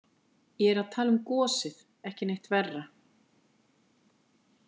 Ég er að tala um gosið, ekki neitt verra.